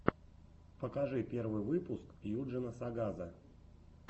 покажи первый выпуск юджина сагаза